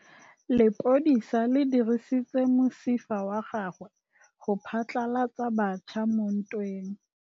Lepodisa le dirisitse mosifa wa gagwe go phatlalatsa batšha mo ntweng.